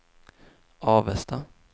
Avesta